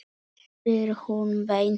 spyr hún beint út.